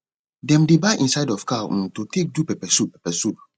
dem dey buy inside of cow um to take do peppersoup peppersoup